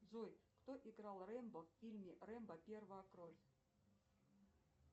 джой кто играл рэмбо в фильме рэмбо первая кровь